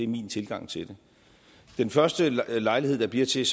min tilgang til det den første lejlighed der bliver til